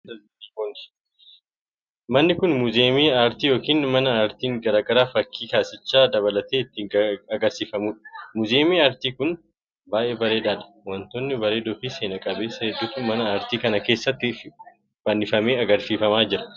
Manni kun, muuziyamii aartii yookiin mana aartiin garaa garaa fakkii kaasicha dabalatee itti agarsiifamuu dha. Muuziyamiin artii kun, baay'ee bareedaa dha. Wantoota bareedoo fi seena qabeessa hedduutu mana aartii kana keessatti fannifamee agarsiifamaa jira.